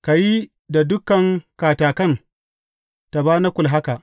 Ka yi da dukan katakan tabanakul haka.